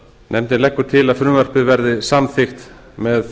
nefndin leggur til að frumvarpið verði samþykkt með